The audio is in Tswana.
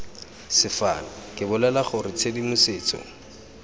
sefane ke bolela gore tshedimosetso